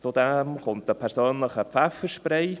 Hinzu kommt ein persönlicher Pfefferspray;